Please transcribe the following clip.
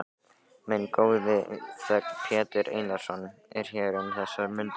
Minn góði þegn, Pétur Einarsson, er hér um þessar mundir.